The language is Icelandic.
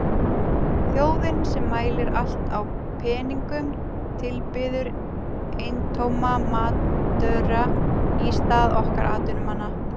Þjóðin sem mælir allt í peningum tilbiður eintóma amatöra í stað okkar atvinnumannanna.